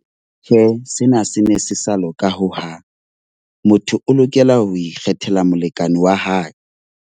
Tjhe, sena se ne se sa loka hohang. Motho o lokela ho ikgethela molekane wa hae.